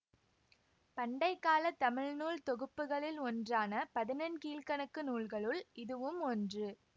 பண்டைக்காலத் தமிழ்நூல் தொகுப்புக்களில் ஒன்றான பதினெண்கீழ்க்கணக்கு நூல்களுள் இதுவும் ஒன்று